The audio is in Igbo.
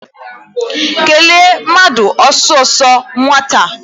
Kelee mmadụ ọsọọsọ nwata a!